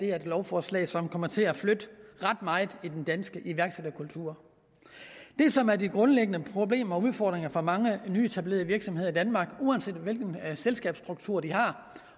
er et lovforslag som kommer til at flytte ret meget i den danske iværksætterkultur det som er de grundlæggende problemer og udfordringer for mange nyetablerede virksomheder i danmark uanset hvilken selskabsstruktur de har